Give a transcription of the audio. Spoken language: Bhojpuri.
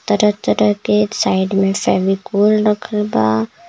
तरह-तरह के साइड में फेविकोल रखल बा.